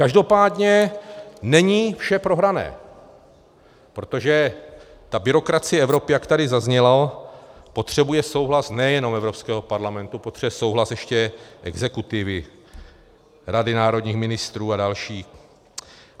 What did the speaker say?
Každopádně není vše prohrané, protože ta byrokracie Evropy, jak tady zaznělo, potřebuje souhlas nejenom Evropského parlamentu, potřebuje souhlas ještě exekutivy, Rady národních ministrů a dalších.